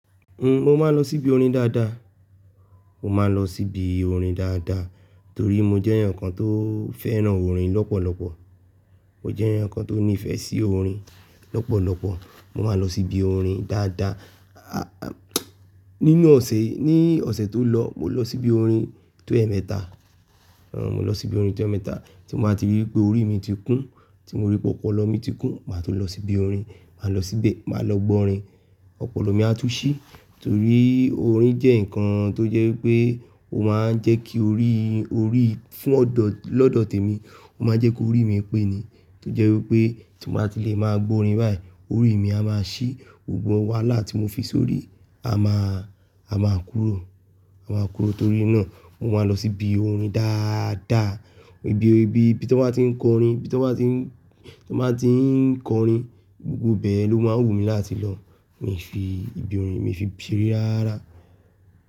N o máa ń lọ síbi orin dáadáa. Mo máa ń lọ síbi orin dáadáa torí mo jẹ́ èèyàn kan tó fẹ́ràn orin lọ́pọ̀lọpọ̀. Mo jẹ́ èèyàn kan tó nífẹ̀ẹ́ sí orin lọ́pọ̀lọpọ̀. Mo máa ń lọ síbi orin dáadáa. Nínú ọ̀sẹ̀, ní ọ̀sẹ̀ tó lọ, mo lọ síbi orin tó ẹ̀ẹ̀mẹta. Ẹrọ, mo lọ síbi orin tó ẹ̀ẹ̀mẹta. Tí mo bá ti rí pé orí mi ti kún, tí mo rí pé ọpọlọ mi ti kún, màá tún lọ síbi orin. Máa lọ síbẹ̀, máa lọ gbọ́ orin. Ọpọlọ mi á tú ṣí torí orin jẹ́ nǹkan tó jẹ́ pé ó máa ń jẹ́ kí orí, orí fún ọ̀dọ̀, lọ́dọ̀ tèmi ó máa ń jẹ́ kó orí mí pé ni. Tó jẹ́ wípé tí mo bá ti lè máa gbọ orin báyìí, orí mi a máa ṣí. Òògùn wàhálà tí mo fi sórí a máa, a máa kúrò. A máa kúrò torí náà mo máa ń lọ síbi orin dáadáa. Ibi, ibi, ibi tí wọ́n bá tí ń kọ orin, ibi tí wọ́n bá tí ń, tí wọ́n bá tí ń kọ orin, gbogbo bẹ yẹn ló máa ń wù mí láti lọ. Mi fi ibi orin mi fi ṣeré rárá ra.